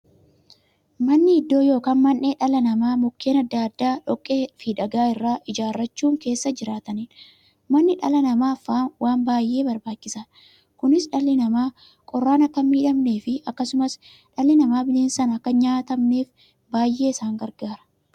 Manni iddoo yookiin mandhee dhalli namaa Mukkeen adda addaa, dhoqqeefi dhagaa irraa ijaarachuun keessa jiraataniidha. Manni dhala namaaf waan baay'ee barbaachisaadha. Kunis, dhalli namaa qorraan akka hinmiidhamneefi akkasumas dhalli namaa bineensaan akka hinnyaatamneef baay'ee isaan gargaara.